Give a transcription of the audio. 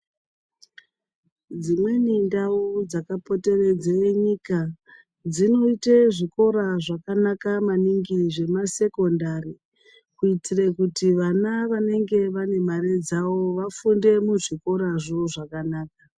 Dzimweni ndau dzakapoteredza nyika dzinoita zvikora zvakanaka maningi zvemasekondari kuitira kuti vana vanenge vane mare dzavo vafunde muzvikorazvo zvakanaka.